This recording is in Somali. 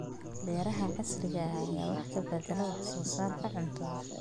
Beeraha casriga ah ayaa wax ka beddelay wax soo saarka cuntada.